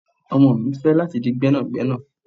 Ọmọ mi fẹ lati di gbénàgbénà